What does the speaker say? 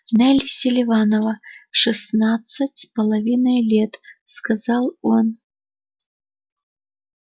нелли селиванова шестнадцать с половиной лет сказал он